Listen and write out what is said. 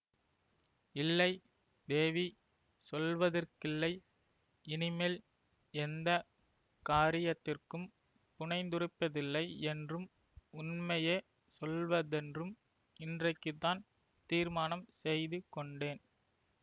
இல்லை தேவி சொல்வதற்கில்லை இனிமேல் எந்த காரியத்திற்கும் புனைந்துரைப்பதில்லையென்றும் உண்மையே சொல்வதென்றும் இன்றைக்குத்தான் தீர்மானம் செய்து கொண்டேன்